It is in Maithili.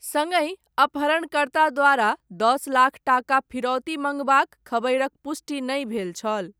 सङ्गहि, अपहरणकर्ता द्वारा दस लाख टाका फिरौती मङ्गबाक, खबरिक पुष्टि नहि भेल छल।